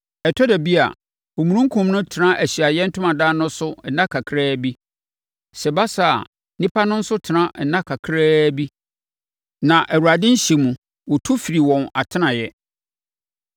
Ɛtɔ da bi a, omununkum no tena Ahyiaeɛ Ntomadan no so nna kakraa bi. Sɛ ɛba saa a, nnipa no nso tena nna kakraa bi. Na Awurade nhyɛ mu, wɔtu firii wɔn atenaeɛ.